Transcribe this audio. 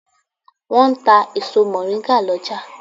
Wọ́n ń ta èso mọ̀ríngà lọ́jà.